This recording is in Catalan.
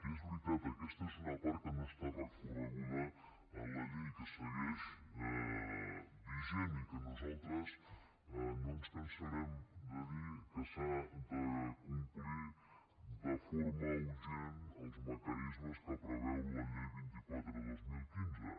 i és veritat aquesta és una part que no està recorreguda en la llei i que segueix vigent i que nosaltres no ens cansarem de dir que s’han de complir de forma urgent els mecanismes que preveu la llei vint quatre dos mil quinze